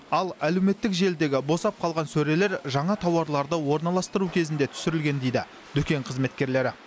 ал әлеуметтік желідегі босап қалған сөрелер жаңа тауарларды орналастыру кезінде түсірілген дейді дүкен қызметкерлері